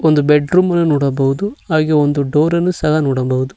ಒಂದು ಬೆಡ್ರೂಮ್ ಅನ್ನು ನೋಡಬಹುದು ಹಾಗೆ ಒಂದು ಡೋರ್ ಅನ್ನು ಸಹ ನೋಡಬಹುದು.